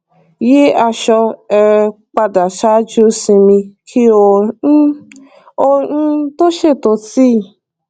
yí aṣọ um padà ṣáájú sinmi kí ó um ó um tó ṣètò tíì